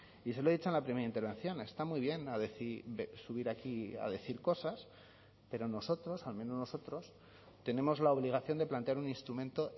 y se lo he dicho en la primera intervención está muy bien subir aquí a decir cosas pero nosotros al menos nosotros tenemos la obligación de plantear un instrumento